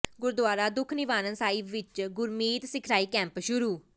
ਗੁਰਦੁਆਰਾ ਦੂਖ ਨਿਵਾਰਨ ਸਾਹਿਬ ਵਿੱਚ ਗੁਰਮਤਿ ਸਿਖਲਾਈ ਕੈਂਪ ਸ਼ੁਰੂ